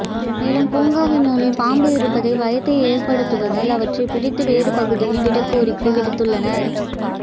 மேலும் பூங்காவினுள் பாம்பு இருப்பது பயத்தை ஏற்படுத்துவதால் அவற்றை பிடித்து வேறு பகுதியில் விட கோரிக்கை விடுத்துள்ளனர்